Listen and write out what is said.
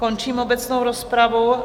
Končím obecnou rozpravu.